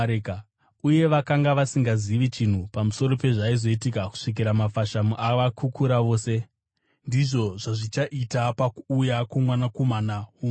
uye vakanga vasingazivi chinhu pamusoro pezvaizoitika kusvikira mafashamu avakukura vose. Ndizvo zvazvichaita pakuuya kwoMwanakomana woMunhu.